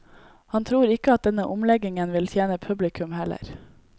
Han tror ikke at denne omleggingen vil tjene publikum heller.